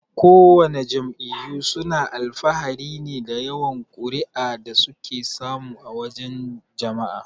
Kowana jam'iyyu suna alfahari ne da yawan kuri'a da suke samu a wajan jama'a.